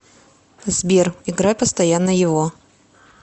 сбер играй постоянно его